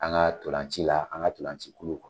An ka tolanci la an ka tolanci kulu